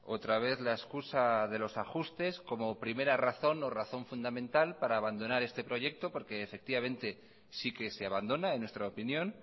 otra vez la excusa de los ajustes como primera razón o razón fundamental para abandonar este proyecto porque efectivamente sí que se abandona en nuestra opinión